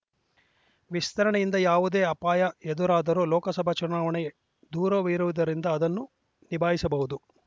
ವಿಸ್ತರಣೆಯಿಂದ ಯಾವುದೇ ಅಪಾಯ ಎದುರಾದರೂ ಲೋಕಸಭೆ ಚುನಾವಣೆ ದೂರವಿರುವುದರಿಂದ ಅದನ್ನು ನಿಭಾಯಿಸಬಹುದು